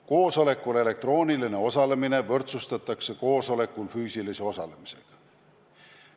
Koosolekul elektrooniline osalemine võrdsustatakse koosolekul füüsilise osalemisega.